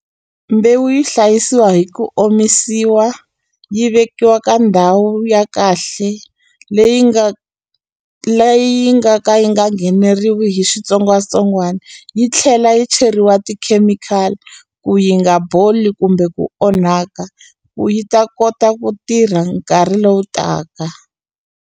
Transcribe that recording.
Mbewu yi hlayisiwa hi ku omisiwa yi vekiwa ka ndhawu ya kahle leyi nga leyi nga ka yi nga ngheneriwi hi xitsongwatsongwana yi tlhela yi cheriwa tikhemikhali ku yi nga boli kumbe ku onhaka ku yi ta kota ku tirha nkarhi lowu taka.